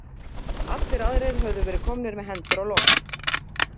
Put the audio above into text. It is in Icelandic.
Allir aðrir höfðu verið komnir með hendur á loft.